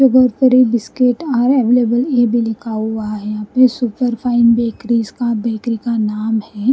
ये बहुत बड़ी बिस्किट आर अवेलेबल इ भी लिखा हुआ है यहां पे सुपर फाइन बेकरीज का बेकरी का नाम है।